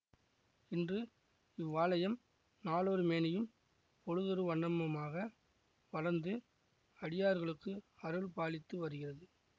இன்று இவ்வாலயம் நாளொரு மேனியும் பொழுதொரு வண்ணமுமாக வளர்ந்து அடியார்களுக்கு அருள் பாலித்து வருகிறது